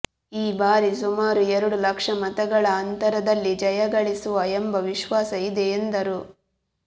ಈ ಬಾರಿ ಸುಮಾರು ಎರಡು ಲಕ್ಷ ಮತಗಳ ಅಂತರದಲ್ಲಿ ಜಯಗಳಿಸುವ ಎಂಬ ವಿಶ್ವಾಸ ಇದೆ ಎಂದರು